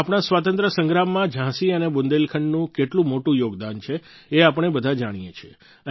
આપણા સ્વતંત્રતા સંગ્રામમાં ઝાંસી અને બુંદેલખંડનું કેટલું મોટું યોગદાન છે એ આપણે બધા જાણીએ છીએ